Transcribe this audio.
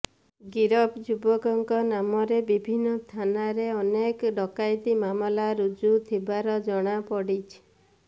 ଗିରଫ ଯୁବକମାନଙ୍କ ନାମରେ ବିଭିନ୍ନ ଥାନାରେ ଅନେକ ଡକାୟତି ମାମଲା ରୁଜୁ ଥିବାର ଜଣାପଡିଛି